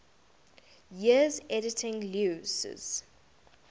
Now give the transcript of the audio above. years editing lewes's